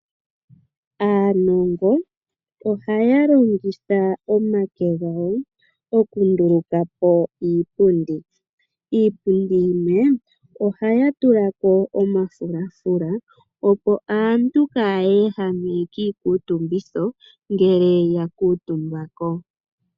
Aanongo ohaya longitha omake gawo okunduluka po iipundi, kiipundi yimwe ohaya tula ko omafulafula opo aantu kaayehame kiikutumbitho ngele yakutumba ko.